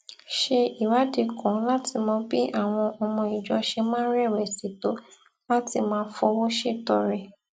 ṣe ìwádìí kan láti mọ bí àwọn ọmọ ìjọ ṣe máa ń rèwèsì tó láti máa fowó ṣètọrẹ